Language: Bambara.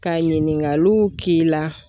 Ka ɲininkaliw k'i la.